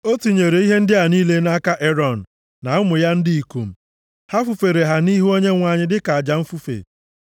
O tinyere ihe ndị a niile nʼaka Erọn na ụmụ ya ndị ikom, ha fufere ha nʼihu Onyenwe anyị dịka aja mfufe.